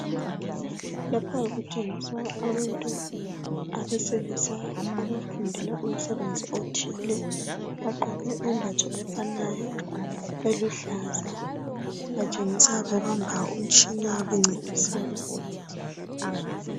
Lapha kuboniswa abantu abesilisa abafundela umsebenzi othile, bagqoke imbatho efanayo eluhlaza. Batshengisa bebamba umtshina bencedisa.